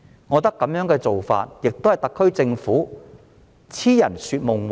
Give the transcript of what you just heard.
我覺得這種做法只是特區政府癡人說夢話。